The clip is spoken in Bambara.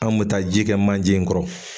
An bɛ taa ji kɛ manje in kɔrɔ